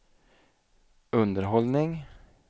underhållning